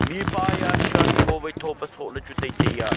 mihpa ye a shirt thowai tho pe sohley chu taitai ya.